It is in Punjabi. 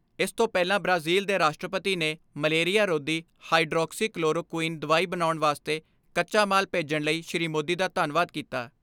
ਇਸ ਤੋਂ ਪਹਿਲਾਂ ਬ੍ਰਾਜ਼ਿਲ ਦੇ ਰਾਸ਼ਟਰਪਤੀ ਨੇ ਮਲੇਰੀਆ ਰੋਧੀ ਹਾਈਡਰੋਕਸੀ ਕਲੋਰੋ ਕੁਈਨ ਦਵਾਈ ਬਣਾਉਣ ਵਾਸਤੇ ਕੱਚਾ ਮਾਲ ਭੇਜਣ ਲਈ ਸ੍ਰੀ ਮੋਦੀ ਦਾ ਧੰਨਵਾਦ ਕੀਤਾ।